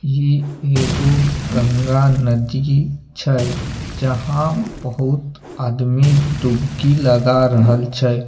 इ एगो गंगा नदी छै जहां बहोत आदमी डूबकी लगा रहल छै।